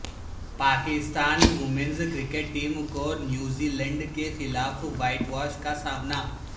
Pakistan women's cricket team کو New Zealand کے خلاف وائٹ واش کا سامنا